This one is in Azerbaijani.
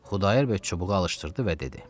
Xudayar bəy çubuğu alışdırdı və dedi: